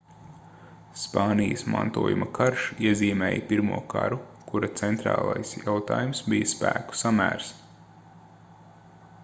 spānijas mantojuma karš iezīmēja pirmo karu kura centrālais jautājums bija spēku samērs